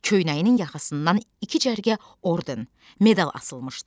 Köynəyinin yaxasından iki cərgə orden, medal asılmışdı.